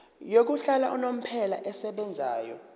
yokuhlala unomphela esebenzayo